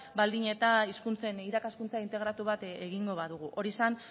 baldin eta hizkuntzen irakaskuntza integratu bat egingo badugu hori zen